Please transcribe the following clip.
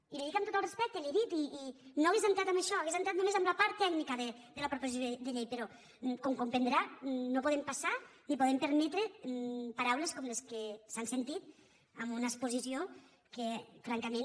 i li ho dic amb tot el respecte i li ho he dit i no hauria entrat en això hauria entrat només en la part tècnica de la proposició de llei però com comprendrà no podem passar ni podem permetre paraules com les que s’han sentit en una exposició que francament